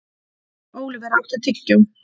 Óliver, áttu tyggjó?